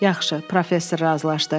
Yaxşı, professor razılaşdı.